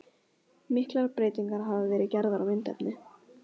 Miklar breytingar hafa verið gerðar á myndefni.